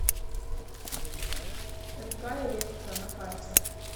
мк электро на карте